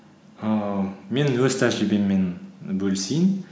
ііі мен өз тәжірибеммен і бөлісейін